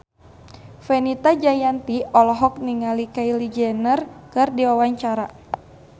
Fenita Jayanti olohok ningali Kylie Jenner keur diwawancara